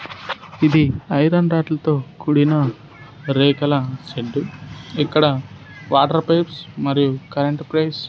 ఇది iron rod లతో కూడిన రేఖల షెడ్డు ఇక్కడ వాటర్ పైప్స్ మరియు కరెంట్ పైప్స్ --